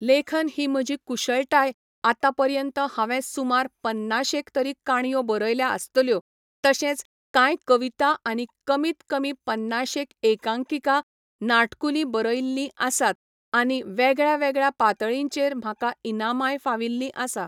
लेखन ही म्हजी कुशळटाय आतां पर्यंत हांवें सुमार पन्नाशेक तरी काणयो बरयल्या आसतल्यो तशेंच कांय कविता आनी कमीत कमी पन्नाशेक एकांकिका, नाटकुली बरयल्लीं आसात आनी वेगळ्यावेगळ्या पातळींचेर म्हाका इनामाय फाविल्लीं आसा.